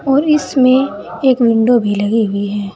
और इसमें एक विंडो भी लगी हुई है।